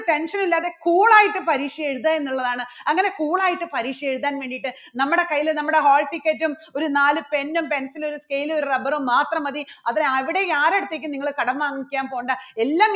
tension ഇല്ലാതെ cool യിട്ട് പരീക്ഷ എഴുതുക എന്നുള്ളതാണ്. അങ്ങനെ cool യിട്ട് പരീക്ഷ എഴുതാൻ വേണ്ടിയിട്ട് നമ്മുടെ കയ്യിൽ നമ്മുടെ hall ticket ഉം ഒരു നാല് pen ഉം pencil ഉം ഒരു scale ഉം ഒരു rubber ഉം മാത്രം മതി അവിടെ അവിടെ ആരുടെ അടുത്തേക്കും നിങ്ങൾ കടം വാങ്ങിക്കാൻ പോകേണ്ട. എല്ലാം